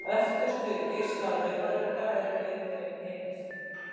Öftustu geislar raufarugga eru lengri en hinir.